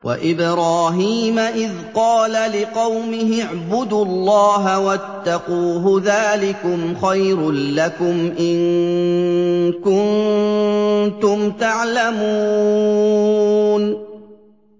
وَإِبْرَاهِيمَ إِذْ قَالَ لِقَوْمِهِ اعْبُدُوا اللَّهَ وَاتَّقُوهُ ۖ ذَٰلِكُمْ خَيْرٌ لَّكُمْ إِن كُنتُمْ تَعْلَمُونَ